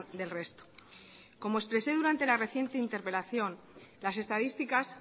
del resto como expresé durante la reciente interpelación las estadísticas